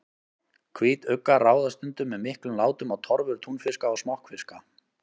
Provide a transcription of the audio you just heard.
Hvítuggar ráðast stundum með miklum látum á torfur túnfiska og smokkfiska.